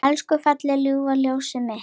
Elsku fallega ljúfa ljósið mitt.